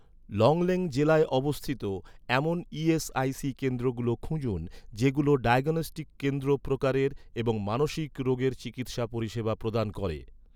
লংলেং জেলায় অবস্থিত, এমন ই.এস.আই.সি কেন্দ্রগুলো খুঁজুন, যেগুলো ডায়াগনস্টিক কেন্দ্র প্রকারের এবং মানসিক রোগের চিকিৎসা পরিষেবা প্রদান করে